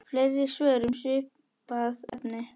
Fleiri svör um svipað efni